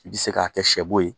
I bɛ se k'a kɛ sɛ bo ye